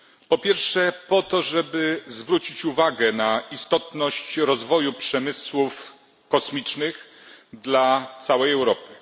Po pierwsze, po to żeby zwrócić uwagę na istotność rozwoju przemysłu kosmicznego dla całej Europy.